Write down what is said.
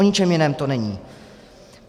O ničem jiném to není.